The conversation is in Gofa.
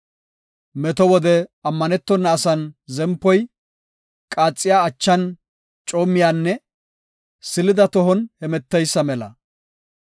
Meto wode ammanetona asan zempoy, qaaxiya achan coommiyanne silida tohon hemeteysa mela.